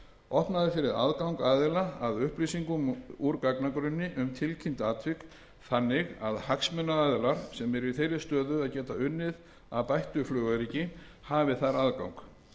opnað er fyrir aðgang aðila að upplýsingum úr gagnagrunni um tilkynnt atvik þannig að hagsmunaaðilar sem eru í þeirri stöðu að geta unnið að bættu flugöryggi hafi þar aðgang